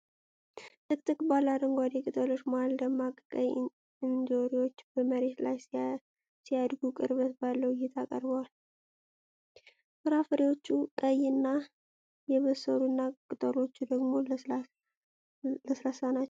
ጥቅጥቅ ባለ አረንጓዴ ቅጠሎች መሃል ደማቅ ቀይ እንጆሪዎች በመሬት ላይ ሲያድጉ ቅርበት ባለው እይታ ቀርበዋል። ፍራፍሬዎቹ ቀይ እና የበሰሉና ቅጠሎቹ ደግሞ ለስላሳ ናቸው።